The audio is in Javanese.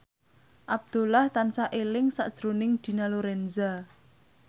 Abdullah tansah eling sakjroning Dina Lorenza